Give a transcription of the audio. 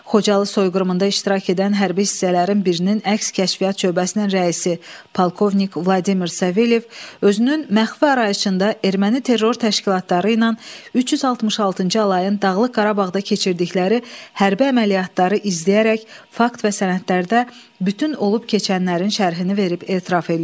Xocalı soyqırımında iştirak edən hərbi hissələrin birinin əks-kəşfiyyat şöbəsinin rəisi polkovnik Vladimir Savelyev özünün məxfi arayışında erməni terror təşkilatları ilə 366-cı alayın Dağlıq Qarabağda keçirdikləri hərbi əməliyyatları izləyərək, fakt və sənədlərdə bütün olub-keçənlərin şərhini verib etiraf eləyirdi.